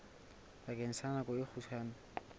bakeng sa nako e kgutshwane